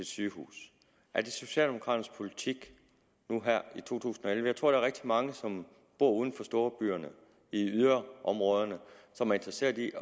sygehus er det socialdemokraternes politik nu her i 2011 jeg tror der er rigtig mange som bor uden for storbyerne i yderområderne og som er interesseret i